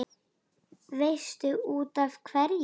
Veistu útaf hverju?